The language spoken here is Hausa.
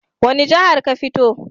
Wani jihar ka fito?